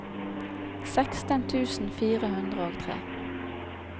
seksten tusen fire hundre og tre